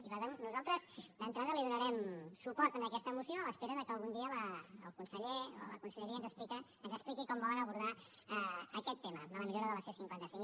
i per tant nosaltres d’entrada donarem suport en aquesta moció a l’espera que algun dia el conseller o la conselleria ens expliqui com volen abordar aquest tema de la millora de la c cinquanta cinc